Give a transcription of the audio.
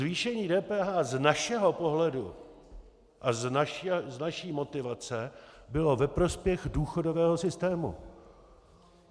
Zvýšení DPH z našeho pohledu a z naší motivace bylo ve prospěch důchodového systému.